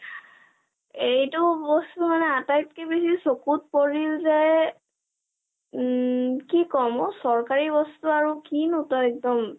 এটো বস্তু মানে আটাইতকৈ বেছি চকুত পৰিল যে উম কি কম আৰু চৰকাৰী বস্তুু আৰু কি নো তই একদম